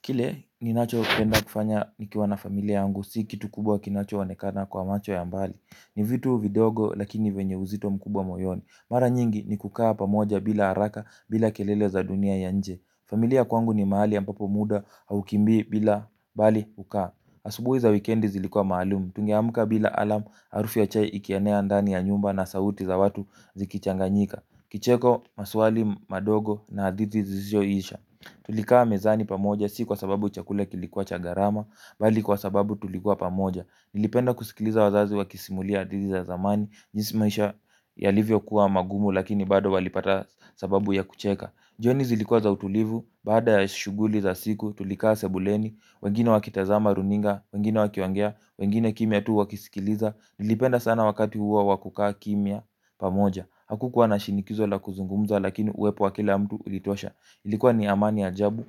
Kile ninachopenda kufanya nikiwa na familia yangu, si kitu kubwa kinacho onekana kwa macho ya mbali. Ni vitu vidogo lakini venye uzito mkubwa moyoni. Mara nyingi ni kukaa pamoja bila haraka bila kelele za dunia ya nje. Familia kwangu ni mahali ambapo muda haukimbii bila bali hukaa. Asubuhi za wikendi zilikuwa maalum, tungeamka bila alarm harufu ya chai ikienea ndani ya nyumba na sauti za watu zikichanganyika. Kicheko maswali madogo na hadithi zisizoisha. Tulikaa mezani pamoja si kwa sababu chakula kilikuwa cha gharama bali kwa sababu tulikuwa pamoja. Nilipenda kusikiliza wazazi wakisimulia hadithi za zamani jinsi maisha yalivyokuwa magumu lakini bado walipata sababu ya kucheka jioni zilikuwa za utulivu baada ya shughuli za siku tulikaa sebuleni wengine wakitazama runinga, wengine wakiongea, wengine kimya tu wakisikiliza. Nilipenda sana wakati huo wa kukaa kimya pamoja hakukuwa na shinikizo la kuzungumza lakini uwepo wa kila mtu ulitosha. Ilikuwa ni amani ajabu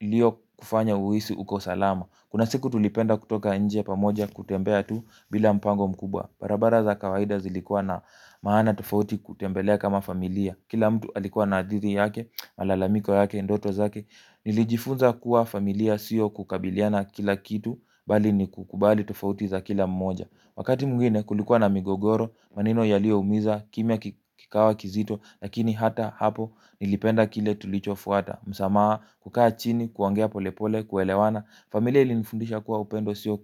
iliyokufanya uhisi uko salama. Kuna siku tulipenda kutoka nje pamoja kutembea tu bila mpango mkubwa. Barabara za kawaida zilikuwa na maana tofauti kutembelea kama familia. Kila mtu alikuwa na hadithi yake, malalamiko yake, ndoto zake. Nilijifunza kuwa familia sio kukabiliana kila kitu, bali ni kukubali tofauti za kila mmoja. Wakati mwingine kulikuwa na migogoro, maneno yalioumiza, kimya kikawa kizito, lakini hata hapo nilipenda kile tulichofuata. Msamaha kukaa chini, kuongea pole pole, kuelewana. Familia ilinifundisha kuwa upendo sio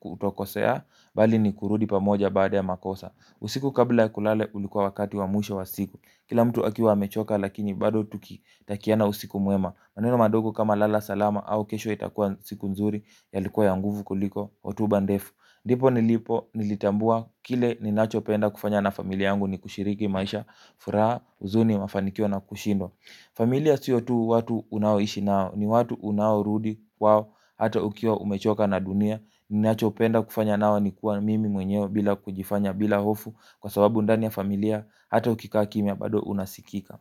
kutokosea bali ni kurudi pamoja baada ya makosa. Usiku kabla ya kulala ulikuwa wakati wa mwisho wa siku. Kila mtu akiwa amechoka lakini bado tukitakiana usiku mwema maneno madogo kama lala salama au kesho itakuwa siku nzuri yalikuwa ya nguvu kuliko hotuba ndefu ndipo nilipo nilitambua kile ninachopenda kufanya na familia yangu ni kushiriki maisha furaha huzuni mafanikio na kushinda. Familia sio tu watu unaoishi nao ni watu unaorudi kwao hata ukiwa umechoka na dunia ninachopenda kufanya nao ni kuwa mimi mwenyewe bila kujifanya bila hofu kwa sababu ndani ya familia hata ukikaa kimya bado unasikika.